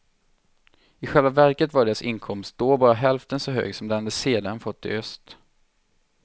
I själva verket var deras inkomst då bara hälften så hög som den de sedan fått i öst.